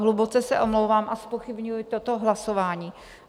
Hluboce se omlouvám a zpochybňuji toto hlasování.